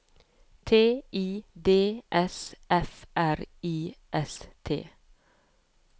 T I D S F R I S T